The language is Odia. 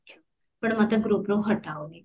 ଆପଣ ମୋତେ groupରୁ ହଟାଅନି